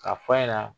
K'a fɔ a ɲɛna